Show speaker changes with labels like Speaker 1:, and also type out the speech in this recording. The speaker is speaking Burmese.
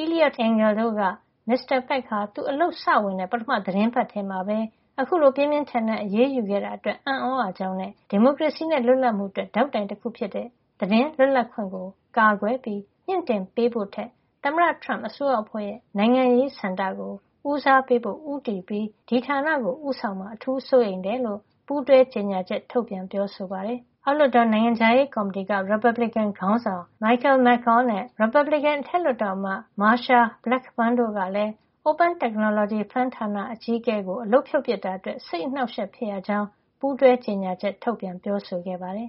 Speaker 1: Eliot L. Engel တို့က Mr. Pack ဟာ သူအလုပ်စဝင်တဲ့ ပထမသီတင်းပတ်ထဲမှာပဲ အခုလို ပြင်းပြင်းထန်ထန် အရေးယူခဲ့တာ အတွက် အံ့သြရကြောင်းနဲ့ ဒီမိုကရေစီနဲ့ လွတ်လပ်မှုအတွက် ဒေါက်တိုင်တခု ဖြစ်တဲ့ သတင်းလွတ်လပ်ခွင့်ကို ကာကွယ်ပြီး မြှင့်တင်ပေးဖို့ထက် သမ္မတထရမ့်အစိုးရအဖွဲ့ရဲ့ နိုင်ငံရေးဆန္ဒကို ဦးစားပေးဖို့ ဦးတည်ပြီး ဒီဌာနကို ဦးဆောင်မှာကို အထူးစိုးရိမ်ကြောင်း ပူးတွဲကြေညာချက် ထုတ်ပြန် ပြောဆိုပါတယ်။ အောက်လွှတ်တော် နိုင်ငံခြားရေးကော်မတီ က ရီပတ်ဘလစ်ကင်ခေါင်းဆောင် Michael McCaul နဲ့ ရီပတ်ဘလစ်ကင် အထက်လွှတ်တော်အမတ် Marsha Blackburn တို့ကလည်း Open Technology Fund ဌာနအကြီးအကဲ Laura Cunningham ကို အလုပ်ဖြုတ်ပစ်တာအတွက် စိတ်အနှောက်အယှက် ဖြစ်ရကြောင်း ပူးတွဲကြေညာချက် ထုတ်ပြန်ပြောဆိုခဲ့ပါတယ်